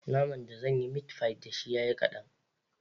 Naman da zanyi mitfai dashi ya yi kaɗan